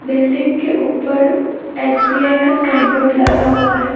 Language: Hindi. बिल्डिंग के ऊपर एस_बी_आई का साइन बोर्ड लगा हुआ है।